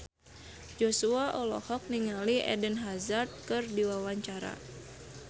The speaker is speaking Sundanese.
Joshua olohok ningali Eden Hazard keur diwawancara